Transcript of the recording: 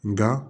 Nga